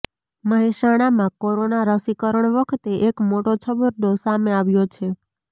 મહેસાણામાં કોરોના રસીકરણ વખતે એક મોટો છબરડો સામે આવ્યો છે